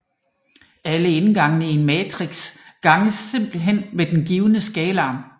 Alle indgangene i en matrix ganges simplethen med den givne skalar